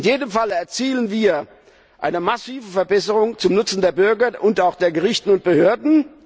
In jedem Falle erzielen wir eine massive Verbesserung zum Nutzen der Bürger und auch der Gerichte und Behörden.